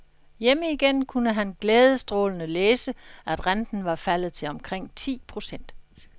Hjemme igen kunne han glædesstrålende læse, at renten var faldet til omkring ti procent.